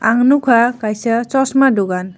ang nugka kaisa chosma dukan.